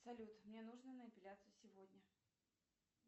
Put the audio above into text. салют мне нужно на эпиляцию сегодня